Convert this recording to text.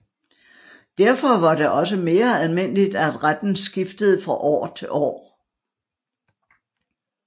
Derfor var det også mere almindeligt at retten skiftede fra år til år